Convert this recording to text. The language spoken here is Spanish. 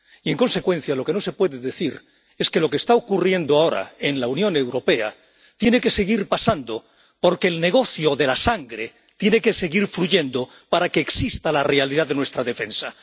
Y, en consecuencia, lo que no se puede decir es que lo que está ocurriendo ahora en la Unión Europea tiene que seguir pasando porque el negocio de la sangre tiene que seguir fluyendo para que exista la realidad de nuestra defensa.